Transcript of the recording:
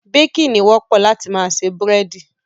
Baking, ni wọ́pọ̀ láti ma se búrẹ́dí